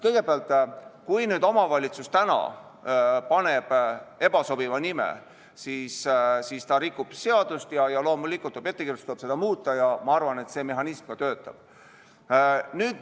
Kõigepealt, kui omavalitsus täna paneb ebasobiva nime, siis ta rikub seadust ja loomulikult tuleb ettekirjutus, seda nime tuleb muuta ja ma arvan, et see mehhanism töötab.